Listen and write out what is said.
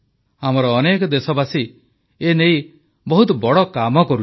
ଆମର ଅନେକ ଦେଶବାସୀ ଏ ନେଇ ବହୁତ ବଡ଼ କାମ କରୁଛନ୍ତି